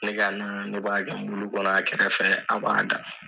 Ne ka na ne b'a kɛ muli kɔnɔ a kɛrɛfɛ a b'a da